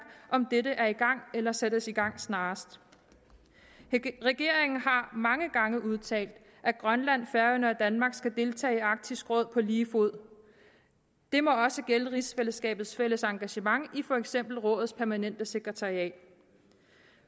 om dette er i gang eller sættes i gang snarest regeringen har mange gange udtalt at grønland færøerne og danmark skal deltage i arktisk råd på lige fod det må også gælde rigsfællesskabets fælles engagement i for eksempel rådets permanente sekretariat